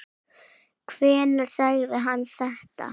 Hvenær sagði hann þetta?